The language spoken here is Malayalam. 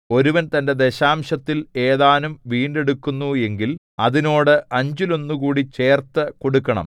ഒരുവൻ തന്റെ ദശാംശത്തിൽ ഏതാനും വീണ്ടെടുക്കുന്നു എങ്കിൽ അതിനോട് അഞ്ചിലൊന്നുകൂടി ചേർത്തുകൊടുക്കണം